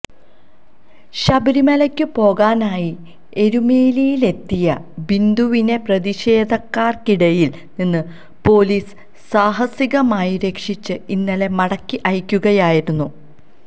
ശബരിമലയ്ക്കു പോകാനായി എരുമേലിയിലെത്തിയ ബിന്ദുവിനെ പ്രതിഷേധക്കാർക്കിടയിൽ നിന്ന് പൊലീസ് സാഹസികമായി രക്ഷിച്ച് ഇന്നലെ മടക്കി അയക്കുകയായിരുന്നു